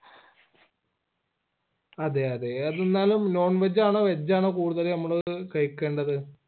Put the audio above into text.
അതെ അതെ അത് എന്നാലും non veg ആണോ veg ആണോ കൂടുതല് നമ്മള് കഴികേണ്ടത്‌